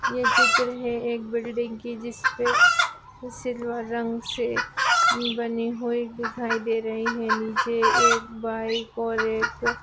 ये चित्र है एक बिल्डिंग की जिसपे वो सिल्वर रंग से उम बनी हुई दिखाई दे रही है नीचे एक बाइक और एक --